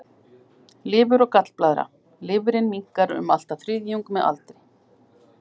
Lifur og gallblaðra Lifrin minnkar um allt að þriðjung með aldri.